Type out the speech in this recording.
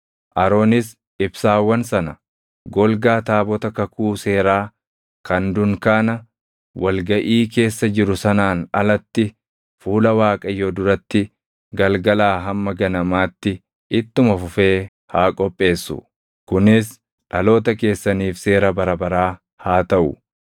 Aroonis ibsaawwan sana golgaa taabota kakuu seeraa kan dunkaana wal gaʼii keessa jiru sanaan alatti fuula Waaqayyoo duratti galgalaa hamma ganamaatti ittuma fufee haa qopheessu. Kunis dhaloota keessaniif seera bara baraa haa taʼu.